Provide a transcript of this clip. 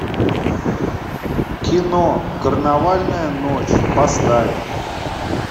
кино карнавальная ночь поставь